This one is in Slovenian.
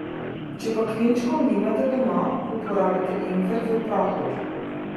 Če pa klinčkov nimate doma, uporabite ingver v prahu.